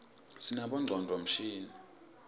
sinabonqcondvo mshini